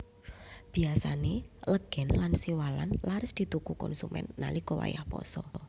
Biyasané legèn lan siwalan laris dituku konsumèn nalika wayah pasa